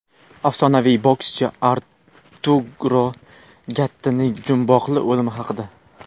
Afsonaviy bokschi Arturo Gattining jumboqli o‘limi haqida.